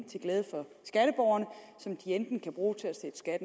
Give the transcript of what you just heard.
til glæde for skatteborgerne som de enten kan bruge til at